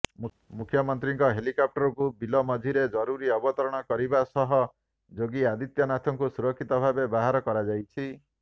ମୁଖ୍ୟମନ୍ତ୍ରୀଙ୍କ ହେଲିକପ୍ଟରକୁ ବିଲ ମଝିରେ ଜରୁରୀ ଅବତରଣ କରିବା ସହ ଯୋଗୀ ଆଦିତ୍ୟନାଥଙ୍କୁ ସୁରକ୍ଷିତ ଭାବେ ବାହାର କରାଯାଇଛି